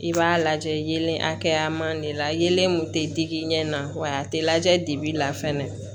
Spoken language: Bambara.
I b'a lajɛ yelen hakɛya ma de la yelen mun tɛ digi i ɲɛ na wa a tɛ lajɛ dibi la fɛnɛ